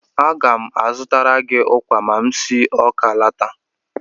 Aga m azụtara gị ụkwa ma m si Awka alọta.